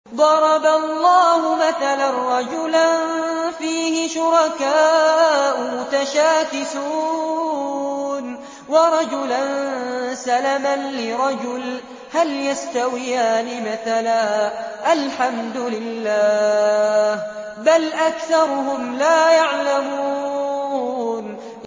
ضَرَبَ اللَّهُ مَثَلًا رَّجُلًا فِيهِ شُرَكَاءُ مُتَشَاكِسُونَ وَرَجُلًا سَلَمًا لِّرَجُلٍ هَلْ يَسْتَوِيَانِ مَثَلًا ۚ الْحَمْدُ لِلَّهِ ۚ بَلْ أَكْثَرُهُمْ لَا يَعْلَمُونَ